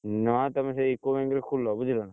ନା ତମେ ସେଇ UCO bank ରେ ଖୋଲ ବୁଝିଲ ନା।